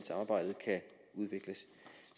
udvikles